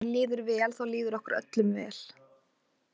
Og ef henni líður vel þá líður okkur öllum vel.